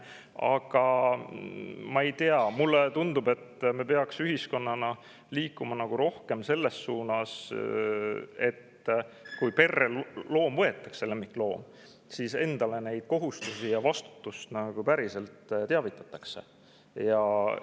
Aga ma ei tea, mulle tundub, et me peaksime ühiskonnana liikuma rohkem selles suunas, et kui perre lemmikloom võetakse, siis, millised on kohustused ja vastutus.